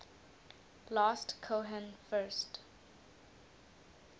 last cohen first